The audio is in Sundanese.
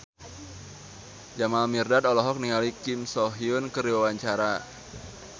Jamal Mirdad olohok ningali Kim So Hyun keur diwawancara